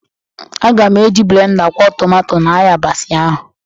Aga m eji blenda kwọ tomato na ayabasị ahụ.